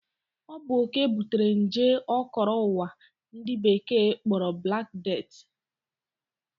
Ọ bụ oke butere nje o koro ụwa ndi Bekee kpọrọ Black Death